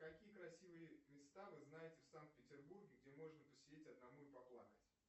какие красивые места вы знаете в санкт петербурге где можно посидеть одному и поплакать